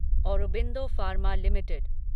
Aurobindo pharma limited